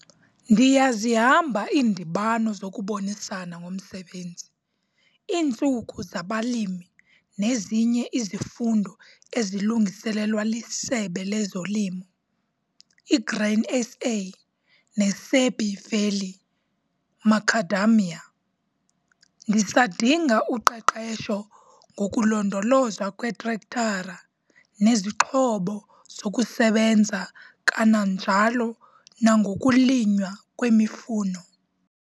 Ndiyazihamba iindibano zokubonisana ngomsebenzi, iiNtsuku zaBalimi nezinye izifundo ezilungiselelwa liSebe lezoLimo, iGrain SA neSabie Valley Macadamia. Ndisadinga uqeqesho ngokulondolozwa kwetrektara nezixhobo zokusebenza kananjalo nangokulinywa kwemifuno.